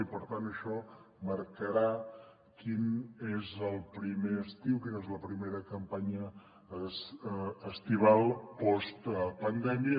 i per tant això marcarà quin és el primer estiu quina és la primera campanya estival postpandèmia